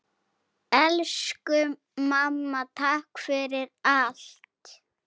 Elsku mamma, takk fyrir allt!